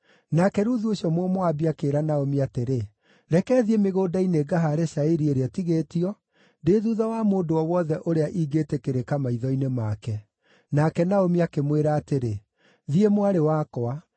Nake Ruthu ũcio Mũmoabi akĩĩra Naomi atĩrĩ, “Reke thiĩ mĩgũnda-inĩ ngahaare cairi ĩrĩa ĩtigĩtio; ndĩ thuutha wa mũndũ o wothe ũrĩa ingĩĩtĩkĩrĩka maitho-inĩ make.” Nake Naomi akĩmwĩra atĩrĩ, “Thiĩ, mwarĩ wakwa.”